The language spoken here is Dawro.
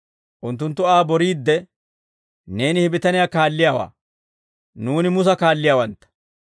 Unttunttu Aa boriidde, «Neeni he bitaniyaa kaalliyaawaa; nuuni Musa kaalliyaawantta.